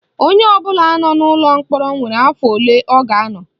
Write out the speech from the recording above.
Onye ọbụla nọ n'ụlọ mkpọrọ nwere afọ ole ọ ga-anọ